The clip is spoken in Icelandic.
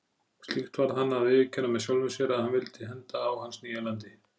Slíkt varð hann að viðurkenna með sjálfum sér að vildi henda á hans nýja landi.